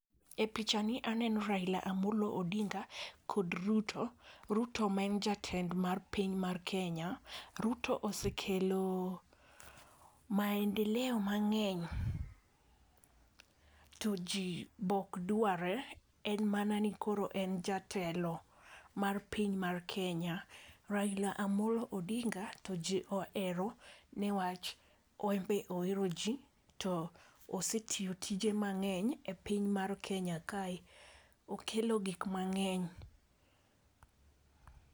E picha ni, aneno Raila Amollo Odinga kod Ruto, Ruto maen jatend mar piny mar Kenya. Ruto osekelo meandeleo mang'eny to ji be okdware en mana ni koro en jatelo mar piny mar Kenya. Raila Amolo Odinga to ji ohero newach enbe ohero ji to osetiyo tije mang’eny e piny mar kenya kae. Okelo gik mang’eny.